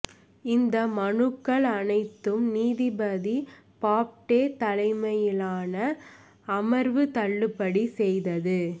இந்த மனுக்கள் அனைத்தும் நீதிபதி பாப்டே தலைமையிலான அமர்வு தள்ளுபடி செய்தது